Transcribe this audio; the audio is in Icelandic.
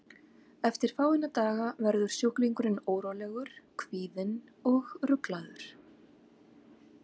Eftir fáeina daga verður sjúklingurinn órólegur, kvíðinn og ruglaður.